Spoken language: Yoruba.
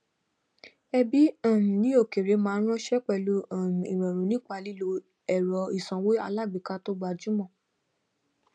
ẹbí um ní òkèèrè máa fowóránṣẹ pẹlú um ìrọrùn nípa lílo ẹrọ ìsanwó alágbèéká tó gbajúmọ